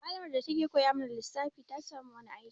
Malamar da ta ke koya mana lissafi ta samu wani aikin